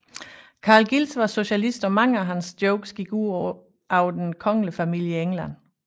Carl Giles var socialist og mange af hans jokes gik ud over den kongelige familie i England